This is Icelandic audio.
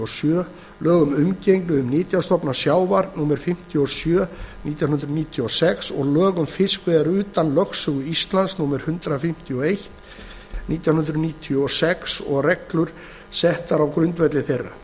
sjö lög um umgengni um nytjastofna sjávar númer fimmtíu og sjö nítján hundruð níutíu og sex og lög um fiskveiðar utan lögsögu íslands númer hundrað fimmtíu og eitt nítján hundruð níutíu og sex og reglur settar á grundvelli þeirra